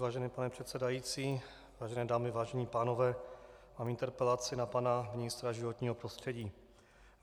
Vážený pane předsedající, vážené dámy, vážení pánové, mám interpelaci na pana ministra životního prostředí.